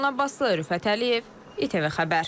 Ləman Abbaslı, Rüfət Əliyev, ITV Xəbər.